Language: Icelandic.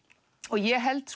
ég held